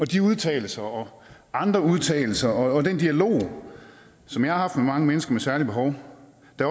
de udtalelser og andre udtalelser og den dialog som jeg har haft med mange mennesker med særlige behov